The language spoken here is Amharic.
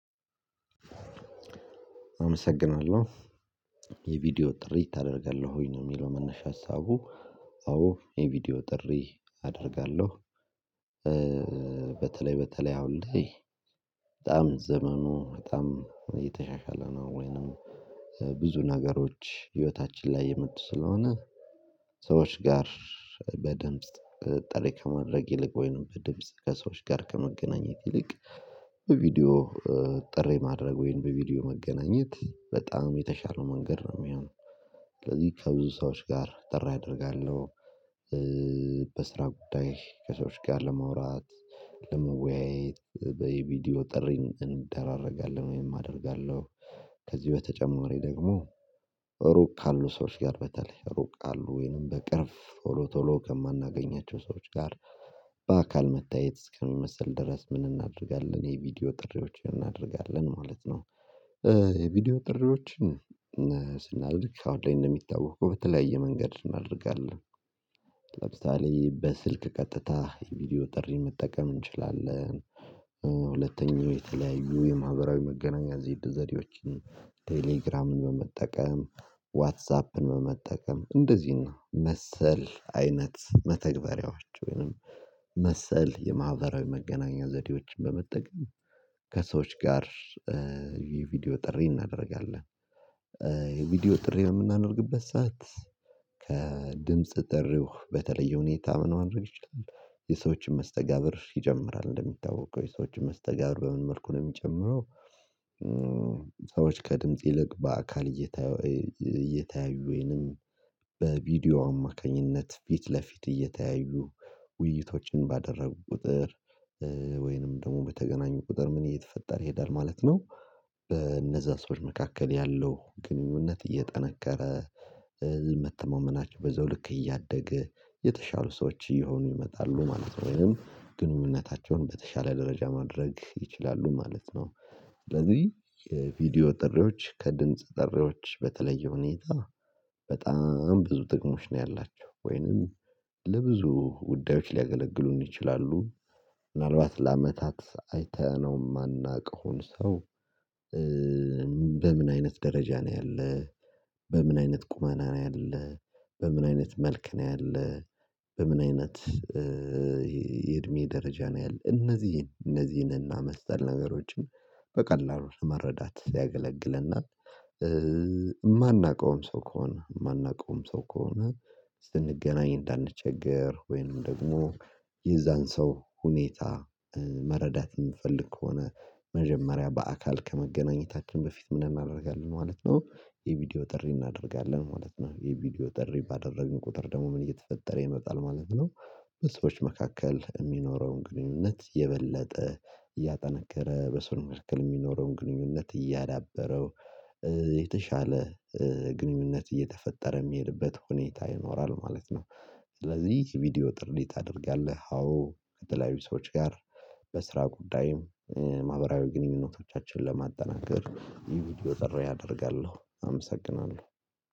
አመሰግናለሁ። የቪዲዮ ጥሪ ታደርጋለህ ወይ ነው የሚለው መነሻ ሀሳቡ? አዎ የቪዲዮ ጥሪ አደርጋለሁ። በተለይ በተለይ አሁን ላይ በጣም ዘመኑ በጣም እየተሻሻለ ነው። ወይንም ብዙ ነገሮች ህይወታችን ላይ እየመጡ ስለሆነ። ሰዎች ጋር በደንብ ጠሪ ከማድረግ ይልቅ ወይንም በድምጽ ከሰዎች ጋር ከመገናኘት ይልቅ። በቪዲዮ ጥሪ ማድረግ ወይንም በቪዲዮ መገናኘት በጣም የተሻለ መንገድ ነው የሚሆነው። ስለዚህ ከብዙ ሰዎች ጋር ጥሪ አደርጋለሁ። በስራ ጉዳይ ከሰዎች ጋር ለመውራት ለመወያየት በቪዲዮ ጥሪን እንደራረጋለን ወይም አደርጋለሁ። ከዚህ በተጨማሪ ደግሞ ሩቅ ካሉ ሰዎች ጋር በተለይ ሩቅ አሉ ወይንም በቅርብ ቶሎ ቶሎ ከማናገኛቸው ሰዎች ጋር በአካል መታየት እስከሚመስል ድረስ ምን እናደርጋለን የቪዲዮ ጥሪዎችን እናደርጋለን ማለት ነው። የቪዲዮ ጥሪዎችን ስናደርግ አሁን ላይ እንደሚታወቅ በተለያየ መንገድ እናደርጋለን። ለምሳሌ በስልክ ቀጥታ የቪዲዮ ጥሪ መጠቀም እንችላለን። ሁለተኛው የተለያዩ የማህበራዊ መገናኛ ዘዴዎችን ቴሌግራምን በመጠቀም ዋትሳፕን በመጠቀም እንደዚህ ነው መሰል አይነት መተግበሪያዎች ወይንም መሰል የማህበራዊ መገናኛ ዘዴዎችን በመጠቀም ከሰዎች ጋር የቪዲዮ ጥሪ እናደርጋለን። የቪዲዮ ጥሪ የምናደርግበት ሰዓት ከድምጽ ጥሪ በተለየ ሁኔታ ምን ማድረግ ይችላል የሰዎችን መስተጋብር ይጨምራል እንደሚታወቅ ወይ ሰዎችን መስተጋብር በምን መልኩ ነው የሚጨምረው? ሰዎች ከድምጽ ይልቅ በአካል እየታዩ እየተያዩኝም በቪዲዮ አማካኝነት ፊት ለፊት እየተያዩ ውይይቶችን ባደረጉ ቁጥር ወይንም ደግሞ በተገናኙ ቁጥር ምን እየተፈጠረ ይሄዳል ማለት ነው። በእነዛ ሰዎች መካከል ያለው ግንኙነት እየጠነከረ መተማመናቸው በዛው ልክ እያደገ የተሻሉ ሰዎች እየሆኑ ይመጣሉ ማለት ነው። ወይም ግንኙነታቸውን በተሻለ ደረጃ ማድረግ ይችላሉ ማለት ነው። ስለዚህ የቪዲዮ ጥሪዎች ከድምጽ ጥሪዎች በተለየ ሁኔታ በጣም ብዙ ጥቅሞች ነው ያላቸው ወይንም ለብዙ ጉዳዮች ሊያገለግሉን ይችላሉ። ምናልባት ለአመታት አይተነው የማናውቀውን ሰው በምን አይነት ደረጃ ነው ያለው? በምን አይነት ቁመና ነው ያለው? በምን አይነት መልክ ነው ያለው? በምን አይነት የእድሜ ደረጃ ነው ያለው? እነዚህን እነዚህን እና መሰል ነገሮችን በቀላሉ ለመረዳት ሊያገለግለናል። የማናውቀውም ሰው ከሆነ ማናውቀውም ሰው ከሆነ ስንገናኝ እንዳንቸገር ወይም ደግሞ የዛን ሰው ሁኔታ መረዳት የምፈልግ ከሆነ መጀመሪያ በአካል ከመገናኘታችን በፊት ምን እናደርጋለን ማለት ነው የቪዲዮ ጥሪ እናደርጋለን ማለት ነው የቪዲዮ ጥሪ ባደረግን ቁጥር ደግሞ ምን እየተፈጠረ ይመጣል ማለት ነው። ሰዎች መካከል የሚኖረውን ግንኙነት የበለጠ እያጠነከረ በሰው መካከል የሚኖረውን ግንኙነት እያዳበረው የተሻለ ግንኙነት እየተፈጠረ የሚሄድበት ሁኔታ ይኖራል ማለት ነው። ስለዚህ ቪዲዮ ጥሪ ታደርጊያለህ አዎ ከተለያዩ ሰዎች ጋር በስራ ጉዳይ ማህበራዊ ግንኙነቶቻችንን ለማጠናከር ይህ ቪዲዮ ጥሪ አደርጋለሁ አመሰግናለሁ